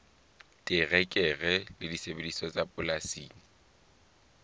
terekere le disebediswa tsa polasing